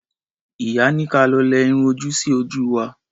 Ìyá ní ka lọ lẹ irun ojú sí ojú wa.